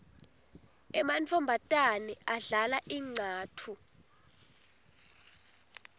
emantfombatane adlala incatfu